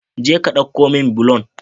Je ka dauko min bulon